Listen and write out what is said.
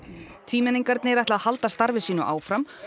tvímenningarnir ætla að halda samstarfi sínu áfram